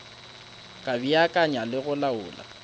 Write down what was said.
ka beakanya le go laola